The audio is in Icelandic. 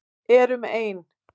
Erum ein.